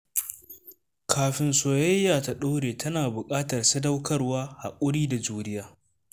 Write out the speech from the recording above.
Kafin soyayya ta ɗore, tana buƙatar sadaukarwa, haƙuri da juriya